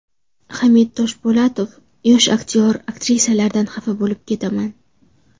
Hamid Toshpo‘latov: Yosh aktyor-aktrisalardan xafa bo‘lib ketaman.